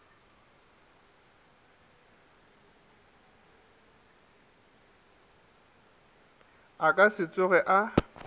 a ka se tsoge a